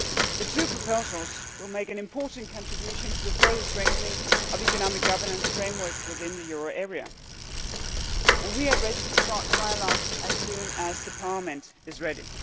The two proposals will make an important contribution to further strengthening of the economic governance framework within the euro area and we are ready to start a trialogue as soon as Parliament is ready.